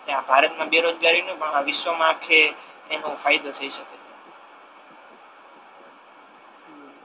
ભારત મા બેરોજગારી પણ આ વિશ્વ મા આખે એનો ફાયદો થઈ શકે છે.